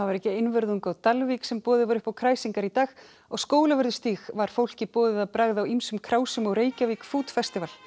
ekki einvörðungu á Dalvík sem boðið var upp á kræsingar í dag á Skólavörðustíg var fólki boðið að bragða á ýmsum á Reykjavík food festival